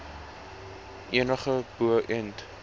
enig bo ent